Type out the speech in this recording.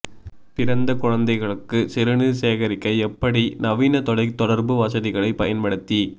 பிறந்த குழந்தைகளுக்கு சிறுநீர் சேகரிக்க எப்படி நவீன தொலைத்தொடர்பு வசதிகளை பயன்படுத்தி